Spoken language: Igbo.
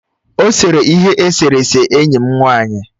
Ọ sere ihe eserese enyi m nwanyị.